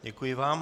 Děkuji vám.